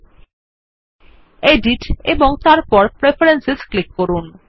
Editএবং তারপর preference click করুন